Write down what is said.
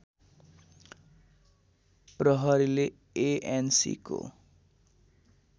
प्रहरीले एएनसीको